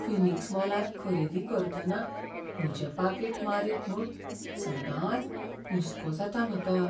Phoenix मॉलांत खरेदी करतना म्हजें पाकीट मारीत म्हूण सदांच हुसको जाता म्हाका.